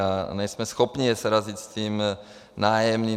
A nejsme schopni je srazit s tím nájemným.